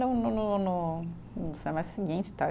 No no no no, no semestre seguinte, tal.